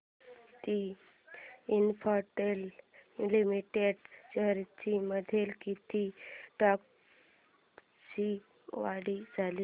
Bharti Infratel limited shares मध्ये किती टक्क्यांची वाढ झाली